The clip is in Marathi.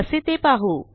कसे ते पाहू